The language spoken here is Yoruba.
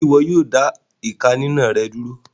Ṣe iwọ yóò dá ìká ninà rẹ dúró?